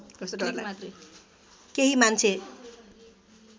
केही मान्छे